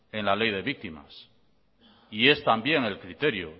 en la ley de víctimas y es también el criterio